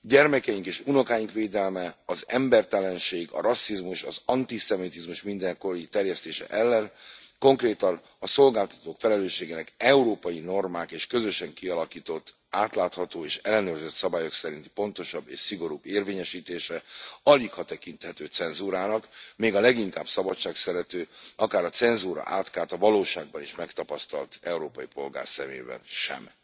gyermekeink és unokáink védelme, az embertelenség, a rasszizmus, az antiszemitizmus mindenkori terjesztése ellen, konkrétan a szolgáltatók felelősségének európai normák, és közösen kialakított, átlátható és ellenőrzött szabályok szerinti pontosabb és szigorúbb érvényesítése aligha tekinthető cenzúrának, még a leginkább szabadságszerető, akár a cenzúra átkát a valóságban is megtapasztalt európai polgár szemében sem.